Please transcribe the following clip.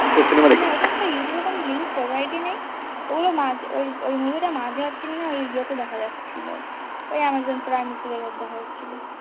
youtube এ কোন link provide নেই ওই movie মাঝে আছে কিনা এই ইয়েতে দেখা যাচ্ছিল, ওই অ্যামাজন prime তে দেখা যাচ্ছিল